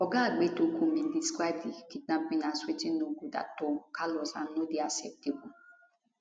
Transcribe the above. oga egbetokun bin describe di kidnapping as wetin no good at all callous and no dey acceptable